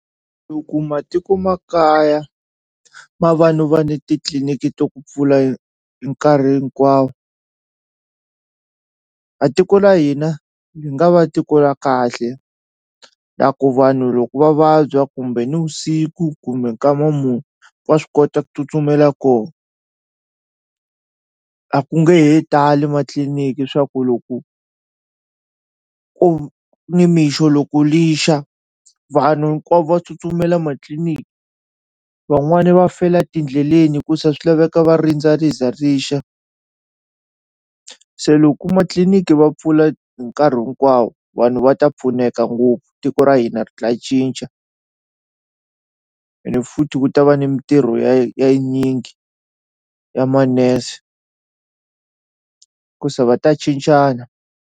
Loko matiko ma kaya ma va no va ni titliliniki to ku pfula hi nkarhi hinkwawo a tiko la hina li nga va tiko la kahle la ku vanhu loko va vabya kumbe nivusiku kumbe nkama mu wa swi kota ku tsutsumela koho a ku nge he tali matliliniki swa ku loko nimixo loko lixa vanhu hinkwavo va tsutsumela ma tliliniki van'wani va fela tindleleni ku se swi laveka va rindza ri za rixa se loko ma tliliniki va pfula hi nkarhi hinkwawo vanhu va ta pfuneka ngopfu tiko ra hina ri ta cinca ene futhi ku ta va ni mintirho ya yi ya tinyingi ya manese hikusa va ta cincana.